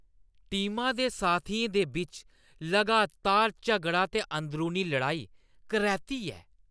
टीमा दे साथियें दे बिच्च लगातार झगड़ा ते अंदरूनी लड़ाई करैह्‌ती ऐ।